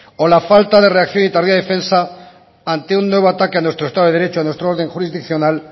o la falta de reacción y tardía defensa ante un nuevo ataque a nuestro estado de derecho nuestro orden jurisdiccional